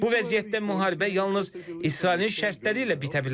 Bu vəziyyətdə müharibə yalnız İsrailin şərtləri ilə bitə bilər.